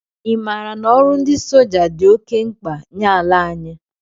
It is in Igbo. I maara na ọrụ ndị soja dị oké mkpa nye ala anyị?